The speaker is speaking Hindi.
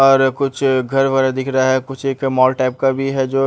और कुछ घर वारा दिख रहा है कुछ एक मॉल टाइप का भी है जो --